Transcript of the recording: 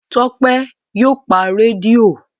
Tọ́pẹ́ yóò pa rédíò.